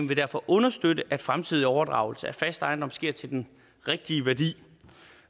vil derfor understøtte at fremtidig overdragelse af fast ejendom sker til den rigtige værdi